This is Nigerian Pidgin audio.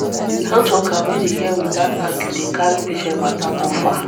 health worker wey dey hear without argue dey carry patient matter go far.